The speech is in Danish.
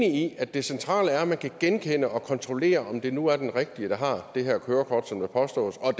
i er det centrale er at man kan genkende personen og kontrollere om det nu er den rigtige der har det her kørekort som der påstås og